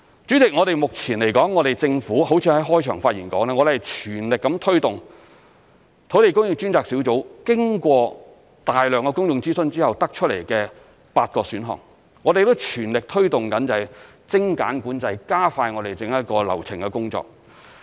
主席，如我在開場發言所說，目前政府正全力推動土地供應專責小組經過大量公眾諮詢後得出的8個選項，我們亦全力推動精簡管制、加快整個流程的工作。